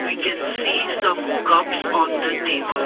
we can see some cups on the table.